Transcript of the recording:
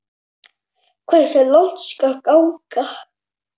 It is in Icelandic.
Hversu langt skal ganga?